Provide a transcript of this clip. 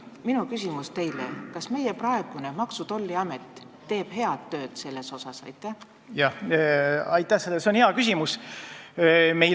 Minu küsimus teile on: kas Maksu- ja Tolliamet teeb selles asjas head tööd?